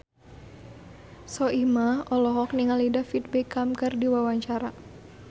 Soimah olohok ningali David Beckham keur diwawancara